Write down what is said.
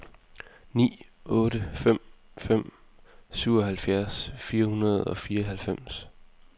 ni otte fem fem syvoghalvfjerds fire hundrede og fireoghalvfems